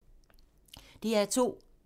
DR2